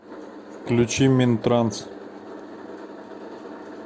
включи минтранс